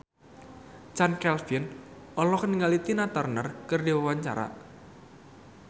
Chand Kelvin olohok ningali Tina Turner keur diwawancara